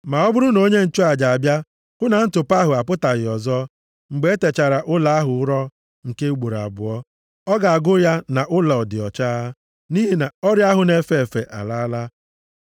“Ma ọ bụrụ na onye nchụaja abịa hụ na ntụpọ ahụ apụtaghị ọzọ, mgbe e techara ụlọ ahụ ụrọ nke ugboro abụọ, ọ ga-agụ ya nʼụlọ dị ọcha, nʼihi na ọrịa ahụ na-efe efe alaala.